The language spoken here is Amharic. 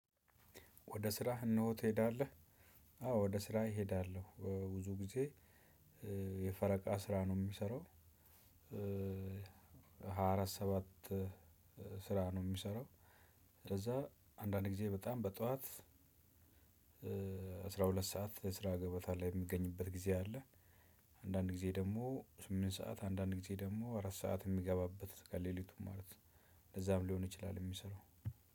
ወደ ስራህ እነሆ ትሄዳለህ? አዎ ወደ ስራየ እሄዳለሁ። ብዙ ጊዜ የፈረቃ ስራ ነው የምሰራው። ሃያ አራት ሰባት ስራ ነው ምሰራው። ከዛ አንዳንድ ጊዜ በጣም በጧት አስራ ሁለት ሰዓት የስራ ገበታ ላይ የሚገኝበት ጊዜ አለ። አንዳንድ ጊዜ ደግሞ ስምንት ሰዓት አንዳንድ ጊዜ ደግሞ አራት ሰዓት የሚገባበት ከሌሊቱ ማለት ነው። እንደዛም ሊሆን ይችላል የሚሰራው።